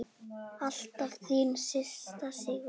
Alltaf þín systir, Sigrún.